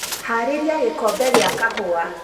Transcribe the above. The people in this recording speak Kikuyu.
haarĩria gikombe gia kahuwa